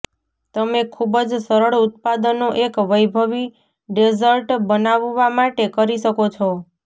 તમે ખૂબ જ સરળ ઉત્પાદનો એક વૈભવી ડેઝર્ટ બનાવવા માટે કરી શકો છો